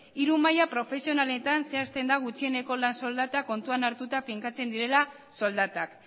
hiru maila profesionaletan zehazten da gutxieneko lan soldata kontuan hartuta finkatzen direla soldatak